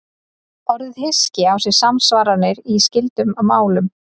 Orðið hyski á sér samsvaranir í skyldum málum.